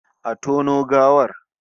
Exhume the corpse!